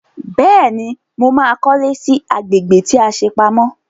Bẹ́ẹ̀ni, mo ma kọ́lé sí agbègbè tí a ṣe pamọ́